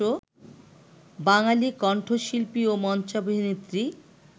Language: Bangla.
বাঙালি কণ্ঠশিল্পী ও মঞ্চাভিনেত্রী